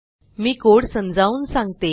मी code समजावून सांगते